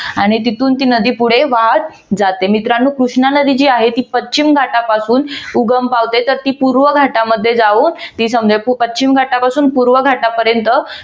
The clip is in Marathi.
आणि तिथून ती नदी पुढे वाहत जाते. मित्रांनो कृष्णा नदी जी आहे ती पश्चिम घाटापासून उगम पावते तर ती पूर्वे घाटामध्ये जाऊन ती पूर्वे घाटापासून ते पश्चिम घाटापर्यंत